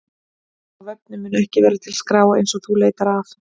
Á vefnum mun ekki vera til skrá eins og þú leitar að.